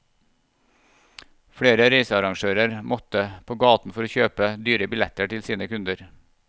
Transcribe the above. Flere reisearrangører måtte på gaten for å kjøpe dyre billetter til sine kunder.